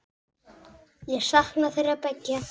Ég sakna þeirra beggja.